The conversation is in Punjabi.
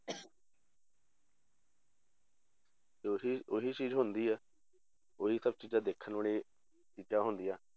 ਤੇ ਉਹੀ ਉਹੀ ਚੀਜ਼ ਹੁੰਦੀ ਹੈ ਉਹੀ ਸਭ ਚੀਜ਼ਾਂ ਦੇਖਣ ਵਾਲੀਆਂ ਚੀਜ਼ਾਂ ਹੁੰਦੀਆਂ